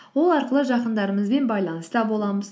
ол арқылы жақындарымызбен байланыста боламыз